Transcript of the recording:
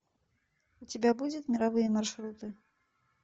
у тебя будет мировые маршруты